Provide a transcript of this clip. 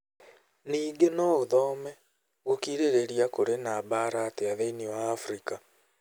Ningĩ no ũthome: Gũkirĩrĩria Kũrĩ na Mbara Atĩa Thĩinĩ wa Afrika?